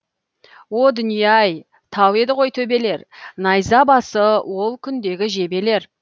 о дүние ай тау еді ғой төбелер найза басы ол күндегі жебелер